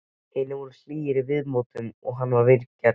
Hinir voru hlýir í viðmóti við hann og vingjarnlegir.